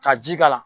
Ka ji k'a la